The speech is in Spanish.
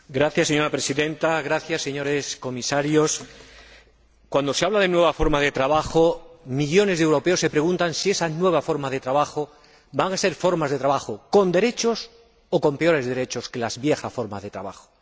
Señora Presidenta, señores Comisarios, cuando se habla de nueva forma de trabajo, millones de europeos se preguntan si esas nuevas formas de trabajo van a ser con derechos o con peores derechos que las viejas formas de trabajo.